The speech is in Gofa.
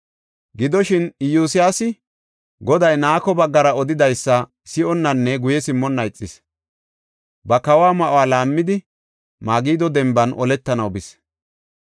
Gidoshin, Iyosyaasi Goday Nako baggara odidaysa si7onnanne guye simmonna ixis. Ba kawo ma7uwa laammidi Magido denban oletanaw bis.